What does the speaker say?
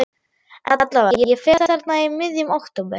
En allavega, ég fer þarna í miðjum október.